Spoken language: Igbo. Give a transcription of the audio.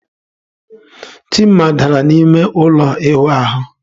Chima dara n'ime ụlọ ịwụ ahụ.